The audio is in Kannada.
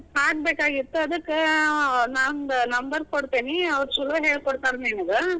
ಹಿಂಗೆ, ಹಾಕ್ಬೇಕಾಗಿತ್ ಅದ್ಕ, ನಾನ್ number ಕೊಡ್ತೇನಿ ಅವರು ಚಲೋ ಹೇಳ್ ಕೊಡ್ತಾರ ನಿಮಗ.